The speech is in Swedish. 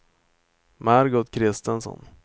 Margot Christensson